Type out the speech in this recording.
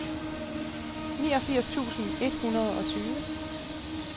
niogfirs tusind et hundrede og tyve